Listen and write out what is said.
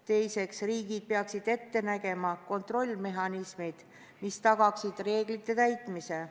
Teiseks, riigid peaksid ette nägema kontrollmehhanismid, mis tagaksid reeglite täitmise.